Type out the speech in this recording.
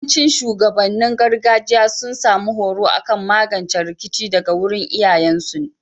Yawancin shugabannin gargajiya sun samu horo akan magance rikici daga wurin iyayen su